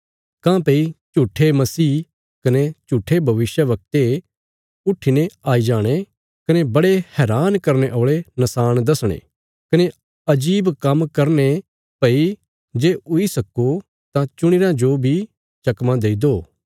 काँह्भई झूट्ठे मसीह कने झूट्ठे भविष्यवक्ते उट्ठीने आई जाणे कने बड़े हैरान करने औल़े नशाण दसणे कने अजीब काम्म करने भई जे हुई सक्को तां चुणी रयां जो बी चकमा देई दो